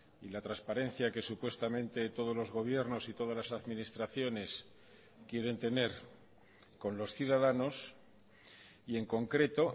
y la transparencia que supuestamente todos los gobiernos y todas las administraciones quieren tener con los ciudadanos y en concreto